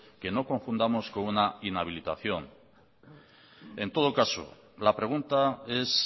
que no confundamos con una inhabilitación en todo caso la pregunta es